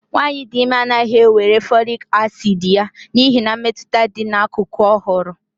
nwanyị dị ime anaghị ewere folic acid ya n'ihi mmetụta dị n'akụkụ ọ hụrụ